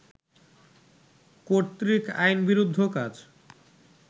কর্তৃক আইনবিরুদ্ধ কাজ